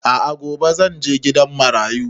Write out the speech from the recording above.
A'a gobe zan je gidan marayu